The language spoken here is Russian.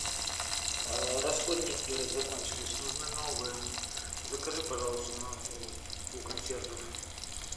расходники закончились нужны новые закажи пожалуйста у консьержей